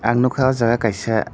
ang nogka o jaga kaisa.